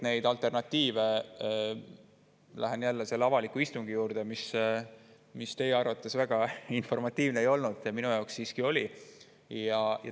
Lähen jälle selle avaliku istungi juurde, mis teie arvates väga informatiivne ei olnud, minu jaoks aga siiski oli.